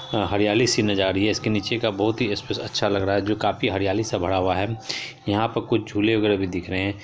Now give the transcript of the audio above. हरियाली सी नजार आ रही है इसके नीचे का बहुत ही स्पेस अच्छा लग रहा है जो काफी हरियाली से भरा हुआ है यहां पर कुछ झूले वगेरा भी दिख रहे है।